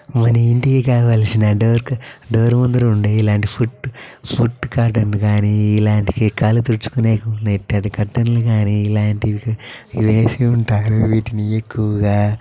మాన ఇంటికి కావలసిన డోర్ డోర్ ముందు ఉండే ఇలాంటి ఫుట్ ఇలాంటివి కాలు తుడుచు కునే మెత్తటివి ఇలాంటివి ఇవి ఎసి ఉంటారు ఇవి ఎక్కువగా.